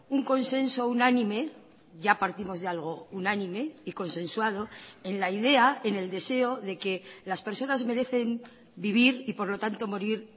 un consenso unánime ya partimos de algo unánime y consensuado en la idea en el deseo de que las personas merecen vivir y por lo tanto morir